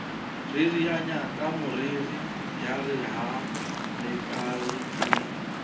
ririanya kameriri yare ha lelakabe